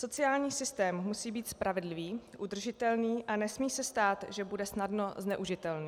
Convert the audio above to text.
Sociální systém musí být spravedlivý, udržitelný a nesmí se stát, že bude snadno zneužitelný.